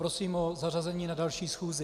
Prosím o zařazení na další schůzi.